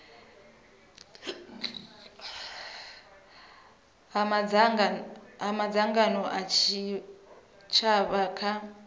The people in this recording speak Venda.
ha madzangano a tshitshavha kha